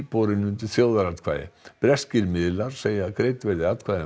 borinn undir þjóðaratkvæði breskir miðlar segja að greidd verði atkvæði um